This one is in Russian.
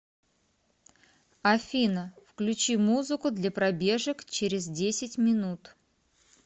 афина включи музыку для пробежек через десять минут